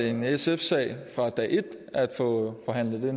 en sf sag fra dag et at få forhandlet